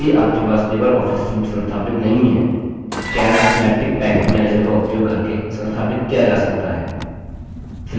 यदि package पास LibreOffice suite संस्थापित नहीं है calc synaptic package manager का उपयोग करके संस्थापित किया जा सकता है